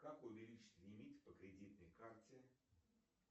как увеличить лимит по кредитной карте